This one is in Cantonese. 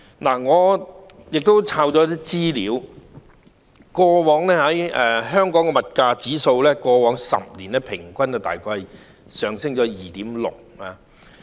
我亦搜尋到一些資料，過往10年，香港的物價指數平均每年大約上升 2.6%。